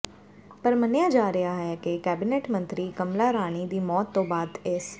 ਪਰ ਮੰਨਿਆ ਜਾ ਰਿਹਾ ਹੈ ਕਿ ਕੈਬਨਿਟ ਮੰਤਰੀ ਕਮਲਾ ਰਾਣੀ ਦੀ ਮੌਤ ਤੋਂ ਬਾਅਦ ਇਸ